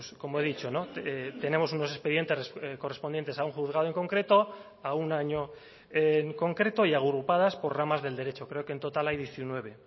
como he dicho tenemos unos expedientes correspondientes a un juzgado en concreto a un año en concreto y agrupadas por ramas del derecho creo que en total hay diecinueve